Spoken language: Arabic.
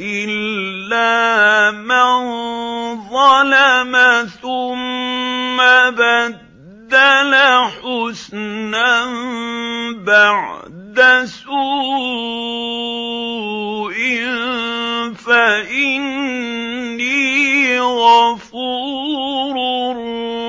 إِلَّا مَن ظَلَمَ ثُمَّ بَدَّلَ حُسْنًا بَعْدَ سُوءٍ فَإِنِّي غَفُورٌ